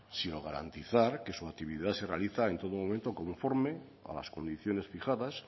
sino garantizar que su actividad se realiza en todo momento conforme a las condiciones fijadas